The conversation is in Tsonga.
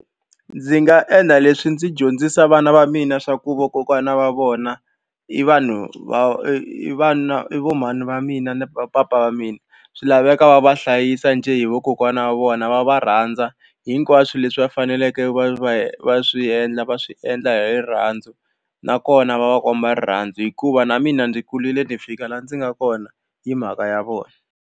Ndzi nga endla leswi ndzi dyondzisa vana va mina swa ku vakokwana va vona i vanhu va vana i vo mhani va mina ni vapapa va mina swi laveka va va hlayisa njhe hi vakokwana wa vona vona va va rhandza hinkwaswo leswi va faneleke va va va swi endla va swi endla hi rirhandzu nakona va va komba rirhandzu hikuva na mina ndzi kurile ndzi fika laha ndzi nga kona hi mhaka ya vona.